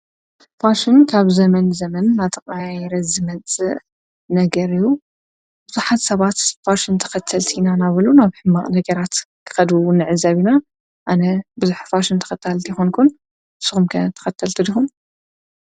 ጳሽን ካብ ዘመን ዘመን ናጥቕይረ ዝመጽእ ነገርዩ ብዙኃት ሰባት ፋሽን ተኸተልቲ ኢናናበሉ ናብ ሕማ ነገራት ኸዱው ነዕዘቢኢና ኣነ ብዙኅፋሽን ተኸታል ቲኾንኩን ስኹምከ ተኸተልቲ ድኹም።